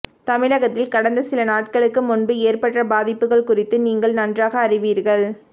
தமிழகத்தில் கடந்த சில நாட்களுக்கு முன்பு ஏற்பட்ட பாதிப்புகள் குறித்து நீங்கள் நன்றாக அறிவீர்கள்